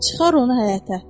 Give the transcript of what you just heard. Çıxar onu həyətə.